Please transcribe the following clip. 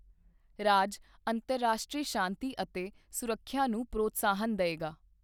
ਰਾਜ ਅੰਤਰਰਾਸ਼ਟਰੀ ਸ਼ਾਂਤੀ ਅਤੇ ਸੁਰੱਖਿਆ ਨੂੰ ਪ੍ਰੋਤਸਾਹਨ ਦਏਗਾ।